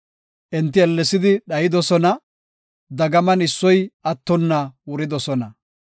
Enti ellesidi dhayidosona; dagaman issoy attonna wuridosona.